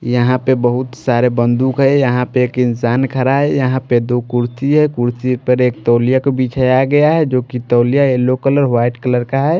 यहाँ पे बहुत सारे बंदूक है यहाँ पे एक इंसान खड़ा है यहाँ पे दो कुर्सी है कुर्सी पर एक तौलिया को बिछाया गया है जो कि तौलिया येलो कलर वाइट कलर का है।